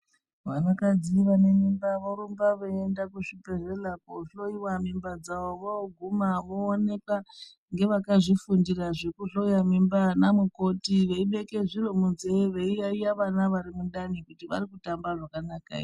Vanakadzi vanemimba vorumba veienda kuzvibhedhlera koohloyiwa mimba dzavo. Vooguma vooneka ngevakazvifundira zvekuhloya mimba, anamukoti veibeke zviro munzee, veiyaiya vana varimundani kuti varikutamba zvakanaka ere.